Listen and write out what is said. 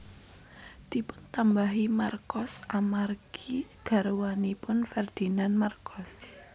Dipuntambahi Marcos amargi garwanipun Ferdinand Marcos